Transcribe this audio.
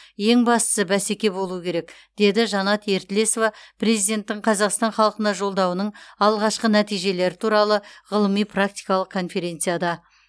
ең бастысы бәсеке болуы керек деді жанат ертілесова президенттің қазақстан халқына жолдауының алғашқы нәтижелері туралы ғылыми практикалық конференцияда